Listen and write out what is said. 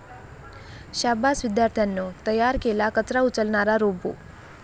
शाब्बास विद्यार्थ्यांनो, तयार केला कचरा उचलणारा रोबो!